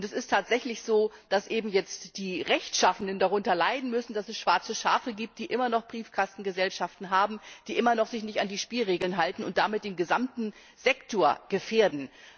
Es ist tatsächlich so, dass eben jetzt die Rechtschaffenen darunter leiden müssen, dass es schwarze Schafe gibt, die immer noch Briefkastengesellschaften haben, die sich immer noch nicht an die Spielregeln halten und damit den gesamten Sektor gefährden.